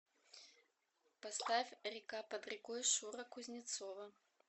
поставь река под рекой шура кузнецова